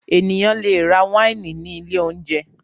Ènìyàn le rà wáìnì ní ilé-oúnjẹ.